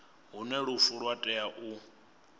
hune lufu lwa tea u